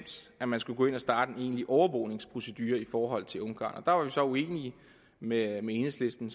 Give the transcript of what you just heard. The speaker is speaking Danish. at man skulle gå ind og starte en egentlig overvågningsprocedure i forhold til ungarn der var vi så uenige med enhedslisten